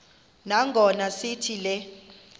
nangona sithi le